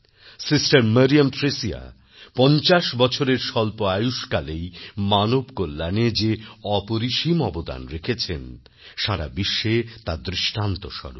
sister Mariam Thresia পঞ্চাশ বছরের স্বল্প আয়ুষ্কালেই মানবকল্যাণে যে অপরিসীম অবদান রেখেছেনসারা বিশ্বে তা দৃষ্টান্তস্বরূপ